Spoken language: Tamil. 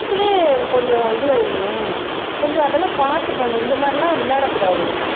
கொஞ்சம் இது ஆயிடுமே கொஞ்சம் அதெல்லாம் பாத்து பண்ணணும் இந்த மாதிரி எல்லாம் விளையாட கூடாது